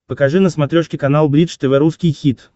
покажи на смотрешке канал бридж тв русский хит